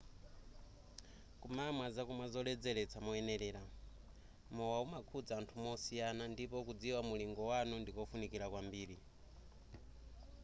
kumamwa zakumwa zoledzeletsa moyenelera mowa umakhudza anthu mosiyana ndipo kudziwa mulingo wanu ndikofunikira kwambiri